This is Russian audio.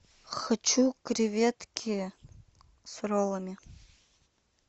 хочу креветки с роллами